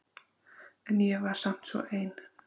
En ég var samt svo ein.